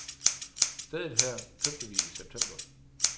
Stedet her købte vi i september.